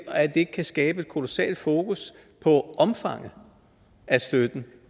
kan skabe et kolossalt fokus på omfanget af støtten